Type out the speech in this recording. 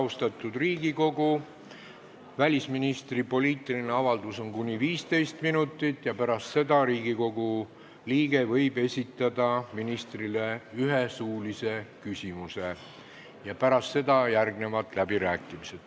Austatud Riigikogu, välisministri poliitiline avaldus kestab kuni 15 minutit ja pärast seda võib Riigikogu liige esitada ministrile ühe suulise küsimuse, siis järgnevad läbirääkimised.